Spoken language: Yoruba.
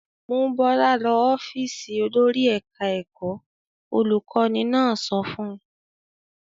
"Mú Bọ́lá lọ ọ́fíísì olórí ẹ̀ka-ẹ̀kọ́!" Olùkọ́ní náà sọ fún un.